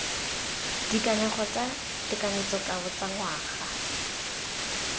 dikanego tsa tekanyetsokabo tsa ngwaga